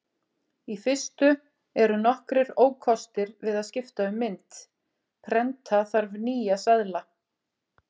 Í fyrstu eru nokkrir ókostir við að skipta um mynt: Prenta þarf nýja seðla.